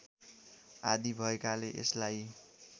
आदि भएकाले यसलाई